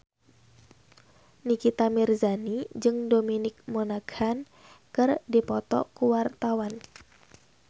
Nikita Mirzani jeung Dominic Monaghan keur dipoto ku wartawan